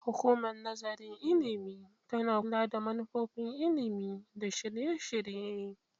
Hukumar Nazarin Ilimi tana kula da manufofin ilimi da shirye-shirye.